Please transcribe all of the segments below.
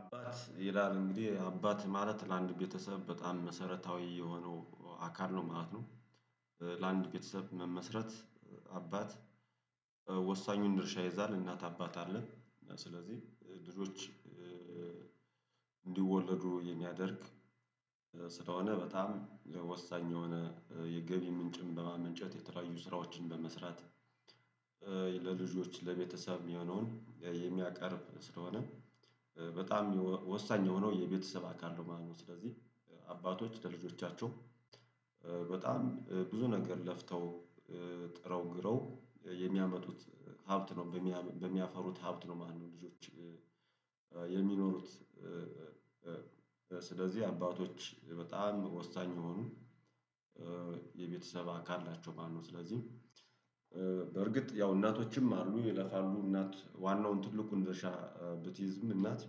አባት ይላል እንግዲህ አባት ማለት ለአንድ ቤተሰብ በጣም መሰረታዊ የሆነው አካል ነው ማለት ነው። ለአንድ ቤተሰብ መመስረት። አባት ወሳኙን ድርሻ ይይዛል እናት አባት አለ ስለዚህ ልጆች እንዲወለዱ የሚያደርግ። ስለሆነ በጣም ወሳኝ የሆነ የገቢ ምንጭም በማመንጨት የተለያዩ ስራዎችን በመስራት። ለልጆች ለቤተሰብ የሚሆነውን የሚያቀርብ ስለሆነ በጣም ወሳኝ የሆነው የቤተሰብ አካል ነው ማለት ነው። ስለዚህ አባቶች ለልጆቻቸው በጣም ብዙ ነገር ለፍተው ጥረው ግረው የሚያመጡት ሀብት ነው። በሚያፈሩት ሀብት ነው ማንኛውም ልጆች የሚኖሩት። ስለዚህ አባቶች በጣም ወሳኝ የሆኑ የቤተሰብ አካል ናቸው ማለት ነው። ስለዚህ ያው እናቶችም አሉ ይለፋሉ እናት ዋናውን ትልቁን ድርሻ ብትይዝም እናት።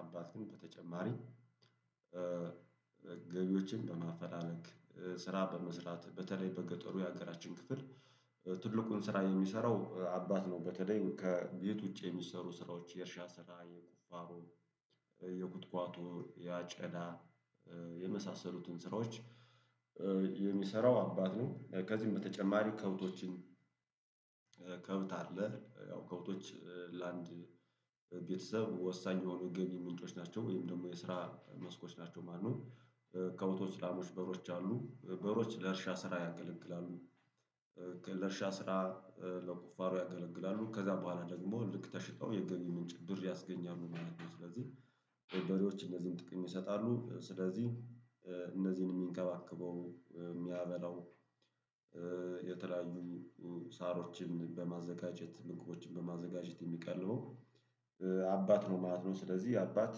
አባት ግን በተጨማሪ ገቢዎችን በማፈላለግ ስራ በመስራት በተለይ በገጠሩ የሀገራችን ክፍል ትልቁን ስራ የሚሰራው አባት ነው። በተለይ ከቤት ውጪ የሚሰሩ ስራዎች የእርሻ ስራ የቁፋሮ የኩትኳቶ ያጨዳ የመሳሰሉትን ስራዎች የሚሰራው አባት ነው። ከዚህም በተጨማሪ ከብቶችን ከብት አለ ያው ከብቶች ለአንድ ቤተሰብ ወሳኝ የሆኑ ገቢ ምንጮች ናቸው ወይም ደግሞ የስራ መስኮች ናቸው ማነው? ከብቶች ላሞች በሬዎች አሉ በሬዎች ለእርሻ ስራ ያገለግላሉ። ለእርሻ ስራ ለቁፋሮ ያገለግላሉ ከዛ በኋላ ደግሞ ልክ ተሽጠው የገቢ ምንጭ ብር ያስገኛሉ ማለት ነው። ስለዚህ በሬዎች እነዚህን ጥቅም ይሰጣሉ ስለዚህ እነዚህን የሚንከባከበው የሚያበላው የተለያዩ ሳሮችን በማዘጋጀት ምግቦችን በማዘጋጀት የሚቀልበው አባት ነው ማለት ነው። ስለዚህ አባት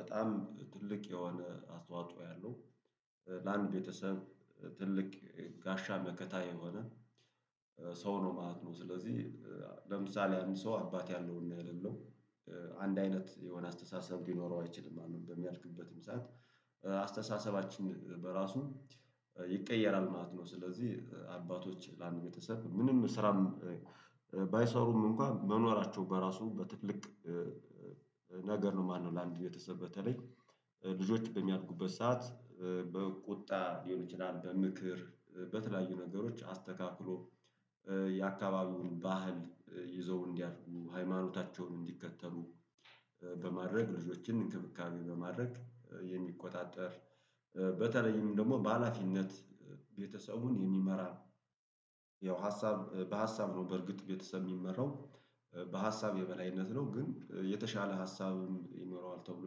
በጣም ትልቅ የሆነ አስተዋጽኦ ያለው ለአንድ ቤተሰብ ትልቅ ጋሻ መከታ የሆነ ሰው ነው ማለት ነው። ስለዚህ ለምሳሌ አንድ ሰው አባት ያለውና የሌለው አንድ አይነት የሆነ አስተሳሰብ ሊኖረው አይችልም። አንድ በሚያልቅበትም ሰዓት አስተሳሰባችን በራሱ ይቀየራል ማለት ነው። ስለዚህ አባቶች ለአንድ ቤተሰብ ምንም ስራም ባይሰሩም እንኳን መኖራቸው በራሱ በትልቅ ነገር ነው። ማነው ለአንድ ቤተሰበ በተለይ ልጆች በሚያድጉበት ሰዓት በቁጣ ሊሆን ይችላል በምክር በተለያዩ ነገሮች አስተካክሎ የአካባቢውን ባህል ይዘው እንዲያድጉ ሃይማኖታቸውን እንዲከተሉ በማድረግ ልጆችን እንክብካቤ በማድረግ የሚቆጣጠር በተለይም ደግሞ በሃላፊነት ቤተሰቡን የሚመራ ነው። ያው ሀሳብ በሀሳብ ነው በርግጥ ቤተሰብ የሚመራው በሀሳብ የበላይነት ነው። ግን የተሻለ ሀሳብም ይኖረዋል ተብሎ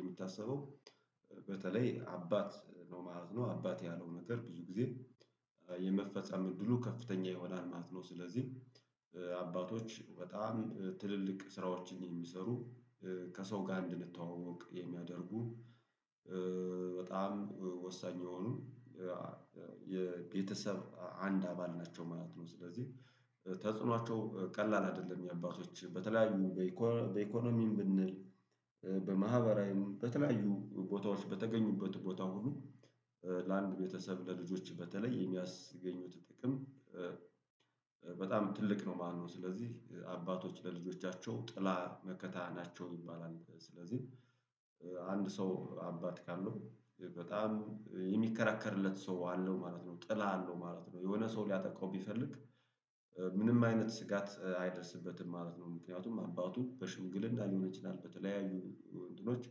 የሚታሰበው በተለይ አባት ነው ማለት ነው። አባት ያለው ነገር ብዙ ጊዜ የመፈጸም እድሉ ከፍተኛ ይሆናል ማለት ነው። ስለዚህ አባቶች በጣም ትልልቅ ስራዎችን የሚሰሩ ከሰው ጋር እንድንተዋወቅ የሚያደርጉ በጣም ወሳኝ የሆኑ የቤተሰብ አንድ አባል ናቸው ማለት ነው። ስለዚህ ተጽኖአቸው ቀላል አይደለም። የአባቶች በተለያዩ በኢኮኖሚም ብንል በማህበራዊም በተለያዩ ቦታዎች በተገኙበት ቦታ ሁሉ ለአንድ ቤተሰብ ለልጆች በተለይ የሚያስገኙት ጥቅም በጣም ትልቅ ነው ማለት ነው። ስለዚህ አባቶች ለልጆቻቸው ጥላ መከታ ናቸው ይባላል። ስለዚህ አንድ ሰው አባት ካለው በጣም የሚከራከርለት ሰው አለው ማለት ነው። ጥላ አለው ማለት ነው። የሆነ ሰው ሊያጠቃው ቢፈልግ ምንም አይነትስጋት አይደርስበትም ማለት ነው። ምክንያቱም አባቱን በሽምግልና ሊሆንም ይችላል በተለያዩ እንትኖች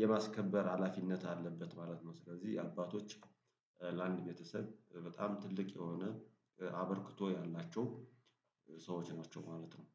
የማስከበር ሀላፊነት አለበት ማለት ነው። ስለዚህ አባቶች ለአንድ ቤተሰብ በጣም ትልቅ የሆነ አበርክቶ ያላቸው ሰዎች ናቸው ማለት ነው